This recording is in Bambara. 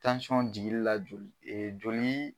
Tansɔn jigili la joli